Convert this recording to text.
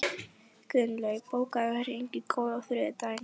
Gunnlaug, bókaðu hring í golf á þriðjudaginn.